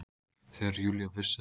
Þegar Júlía vissi að